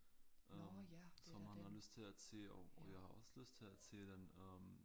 Øh som han har lyst til at se og jeg har også lyst til at se den øh